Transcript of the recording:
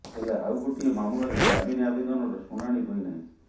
ହେଲେ ଆଉ ଗୋଟିଏ ମାମଲାରେ ଜାମିନ ଆବେଦନର ଶୁଣାଣି ହୋଇନାହିଁ